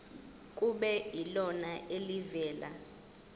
kube yilona elivela